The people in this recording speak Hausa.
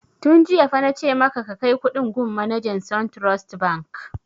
Tun jiya fa na ce maka ka kai kuɗin gun manajan suntrust bank!